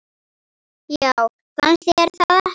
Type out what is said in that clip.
Já, fannst þér það ekki?